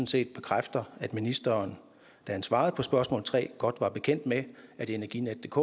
set bekræfter at ministeren da han svarede på spørgsmål tre godt var bekendt med at energinetdk